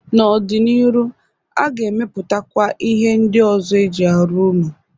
N'ọ dị n'iru aga emepụtakwa ihe ndị ọzọ e ji arụ ụnọ.